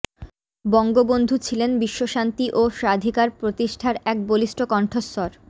বঙ্গবন্ধু ছিলেন বিশ্বশান্তি ও স্বাধিকার প্রতিষ্ঠার এক বলিষ্ঠ কণ্ঠস্বর